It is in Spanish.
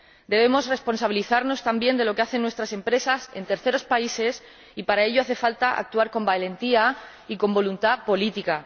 Debemos responsabilizarnos también de lo que hacen nuestras empresas en terceros países y, para ello, hace falta actuar con valentía y con voluntad política.